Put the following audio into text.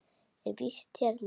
Ég er í vist hérna.